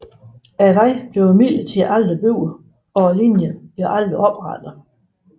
Vejen blev imidlertid ikke bygget og linjen blev aldrig oprettet